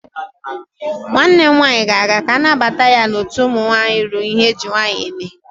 Nwanne m nwaanyị ga-aga ka a nabata ya n'otu ụmụ nwaanyị ruru ihe eji nwaanyị eme.